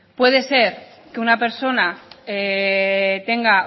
puede ser que una persona tenga